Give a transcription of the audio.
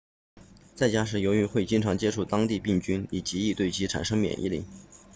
在家时由于会经常接触当地病菌你极易对其产生免疫力